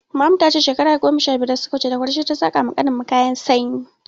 Maman mu ta ce shekara goma sha biyar da suka wuce, da kureshe ta saƙa wa ƙanin mu kayan sanyi.